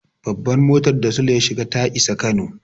Babban mutar da Sule ya shiga ta isa Kano.